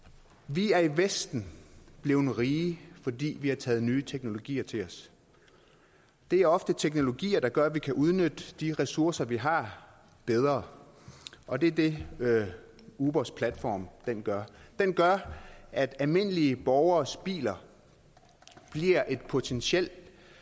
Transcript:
vi er i vesten blevet rige fordi vi har taget nye teknologier til os det er ofte teknologier der gør at vi kan udnytte de ressourcer vi har bedre og det er det ubers platform gør den gør at almindelige borgeres biler bliver et potentielt